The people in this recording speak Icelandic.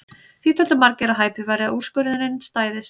Því töldu margir að hæpið væri að úrskurðurinn stæðist.